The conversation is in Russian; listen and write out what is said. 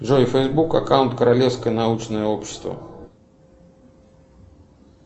джой фейсбук аккаунт королевское научное общество